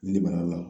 Nili bana la